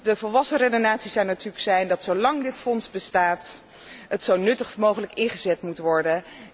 De volwassen redenering zou natuurlijk moeten zijn dat zolang dit fonds bestaat het zo nuttig mogelijk ingezet moet worden.